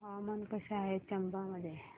हवामान कसे आहे चंबा मध्ये